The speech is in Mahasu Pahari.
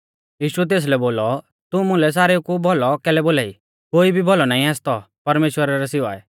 यीशुऐ तेसलै बोलौ तू मुलै सारेउ कु भौलौ कैलै बोलाई कोई भी भौलौ नाईं आसतौ परमेश्‍वरा रै सिवाऐ